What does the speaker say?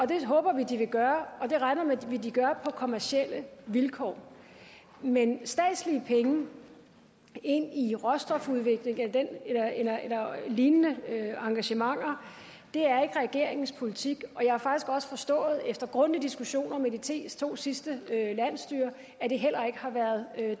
det håber vi de vil gøre og det regner vi med de vil gøre på kommercielle vilkår men statslige penge ind i råstofudvikling eller lignende engagementer er ikke regeringens politik og jeg har faktisk også forstået efter grundige diskussioner med de to sidste landsstyrer at det heller ikke har været